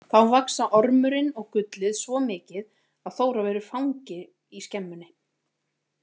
Þá vaxa ormurinn og gullið svo mikið að Þóra verður fangi í skemmunni.